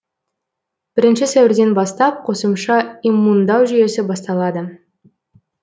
бірінші сәуірден бастап қосымша иммундау жүйесі басталады